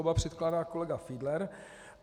Oba předkládá kolega Fiedler.